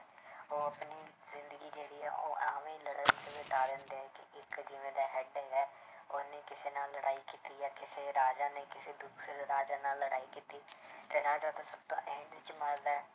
ਉਹ ਆਪਣੀ ਜ਼ਿੰਦਗੀ ਜਿਹੜੀ ਹੈ ਉਹ ਐਵਨ ਲੜਨ 'ਚ ਬਿਤਾ ਦਿੰਦੇ ਹੈ ਕਿ ਇੱਕ ਜਿਵੇਂ ਦਾ head ਹੈਗਾ ਹੈ ਉਹਨੇ ਕਿਸੇ ਨਾਲ ਲੜਾਈ ਕੀਤੀ ਹੈ ਜਾਂ ਕਿਸੇ ਰਾਜਾ ਨੇ ਕਿਸੇ ਦੂਸਰੇ ਰਾਜਾ ਨਾਲ ਲੜਾਈ ਕੀਤੀ ਤੇ ਰਾਜਾ ਤਾਂ ਸਭ ਤੋਂ end 'ਚ ਮਰਦਾ ਹੈ।